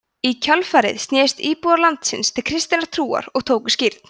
í kjölfarið snerust íbúar landsins til kristinnar trúar og tóku skírn